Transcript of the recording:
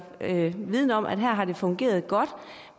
viden om at her har det fungeret godt